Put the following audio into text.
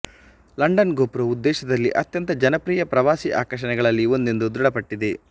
London ಗೋಪುರವು ದೇಶದಲ್ಲಿ ಅತ್ಯಂತ ಜನಪ್ರಿಯ ಪ್ರವಾಸಿ ಆಕರ್ಷಣೆಗಳಲ್ಲಿ ಒಂದೆಂದು ದೃಢಪಟ್ಟಿದೆ